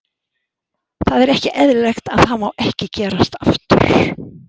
Það er ekki eðlilegt og það má ekki gerast aftur.